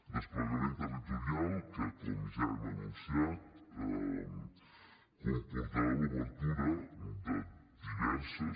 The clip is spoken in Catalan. desplegament territorial que com ja hem anunciat comportarà l’obertura de diverses